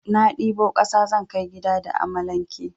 Na ɗibo kasa zan kai gida da amalanke.